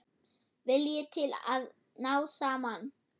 Vilji til að ná saman.